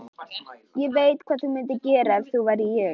Ég veit hvað þú mundir gera ef þú værir ég.